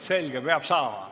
Selge, peab saama.